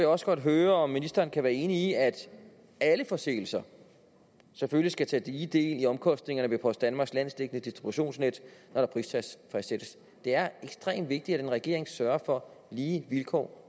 også godt høre om ministeren kan være enig i at alle forsendelser selvfølgelig skal tage lige del i omkostningerne ved post danmarks landsdækkende distributionsnet når der prisfastsættes det er ekstremt vigtigt at en regering sørger for lige vilkår